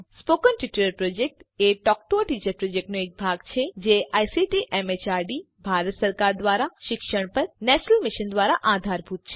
spoken tutorial project a talk to a teacher પ્રોજેક્ટનો એક ભાગ છે જે આઇસીટી એમએચઆરડી ભારત સરકાર દ્વારા શિક્ષણ પર નેશનલ મિશન દ્વારા આધારભૂત છે